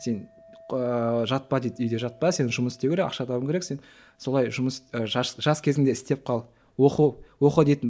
сен ыыы жатпа дейді үйде жатпа сен жұмыс істеу керек ақша табуың керек сен солай жұмыс жас кезіңде істеп қал оқы оқы дейтін